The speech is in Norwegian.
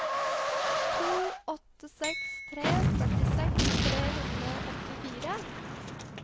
to åtte seks tre førtiseks tre hundre og åttifire